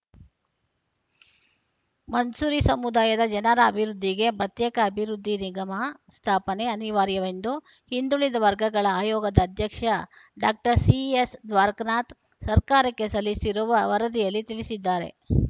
ಮನ್ಸೂರಿ ಸಮುದಾಯದ ಜನರ ಅಭಿವೃದ್ಧಿಗೆ ಪ್ರತ್ಯೇಕ ಅಭಿವೃದ್ಧಿ ನಿಗಮ ಸ್ಥಾಪನೆ ಅನಿವಾರ‍ಯವೆಂದು ಹಿಂದುಳಿದ ವರ್ಗಗಳ ಆಯೋಗದ ಅಧ್ಯಕ್ಷ ಡಾಕ್ಟರ್ ಸಿಎಸ್‌ದ್ವಾರಕನಾಥ್‌ ಸರ್ಕಾರಕ್ಕೆ ಸಲ್ಲಿಸಿರುವ ವರದಿಯಲ್ಲಿ ತಿಳಿಸಿದ್ದಾರೆ